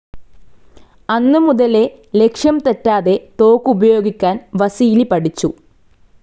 അന്നുമുതലേ ലക്ഷ്യംതെറ്റാതെ തോക്കുപയോഗിക്കാൻ വസീലി പഠിച്ചു.